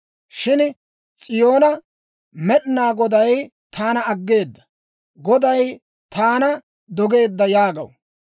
Shin S'iyoona, «Med'inaa Goday taana aggeeda; Goday taana dogeedda» yaagaw.